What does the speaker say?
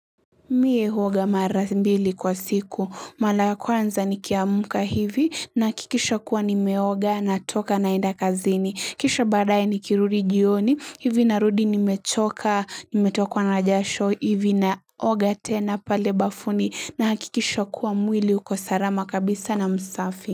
Mie huoga mara mbili kwa siku, mara ya kwanza nikiamka hivi nahakikisha kuwa nimeoga na toka naenda kazini, kisha baadae nikirudi jioni, hivi na rudi ni mechoka, nimetokwa na jasho, hivi naoga tena pale bafuni na hakikisha kuwa mwili uko salama kabisa na msafi.